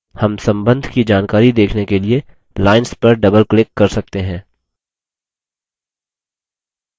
हम सम्बन्ध की जानकारी देखने के लिए lines पर double click कर सकते हैं